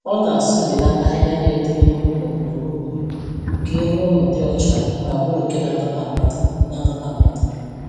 Ọ na-asụbilata ahịhịa na-eto n'ihu ụlọ, ugboro ugboro, ka ihu ụlọ dị ọcha ma bụrụ nke na-adọta mmadụ, na-adọta mmadụ.